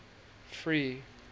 free